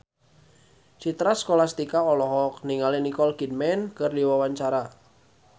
Citra Scholastika olohok ningali Nicole Kidman keur diwawancara